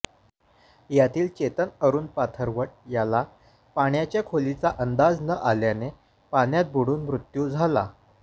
यातील चेतन अरूण पाथरवट याला पाण्याच्या खोलीचा अंदाज न आल्याने पाण्यात बुडून मृत्यू झाला